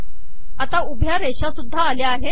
आता उभ्या रेषासुद्धा आल्या आहेत